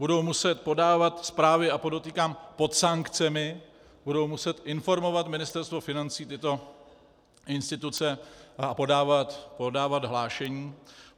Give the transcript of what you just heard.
Budou muset podávat zprávy, a podotýkám pod sankcemi, budou muset informovat Ministerstvo financí tyto instituce a podávat hlášení.